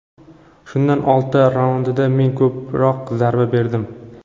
Shundan olti raundida men ko‘proq zarba berdim.